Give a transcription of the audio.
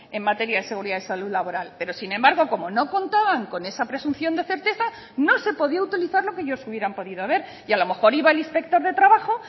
en materia de seguridad y salud laboral pero sin embargo como no contaban con esa presunción de certeza no se podía utilizar lo que ellos hubieran podido ver y a lo mejor iba el inspector de trabajo